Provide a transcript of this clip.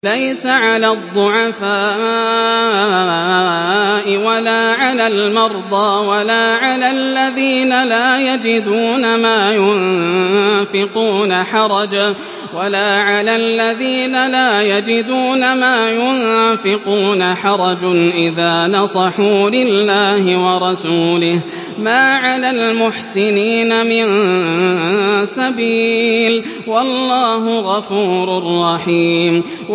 لَّيْسَ عَلَى الضُّعَفَاءِ وَلَا عَلَى الْمَرْضَىٰ وَلَا عَلَى الَّذِينَ لَا يَجِدُونَ مَا يُنفِقُونَ حَرَجٌ إِذَا نَصَحُوا لِلَّهِ وَرَسُولِهِ ۚ مَا عَلَى الْمُحْسِنِينَ مِن سَبِيلٍ ۚ وَاللَّهُ غَفُورٌ رَّحِيمٌ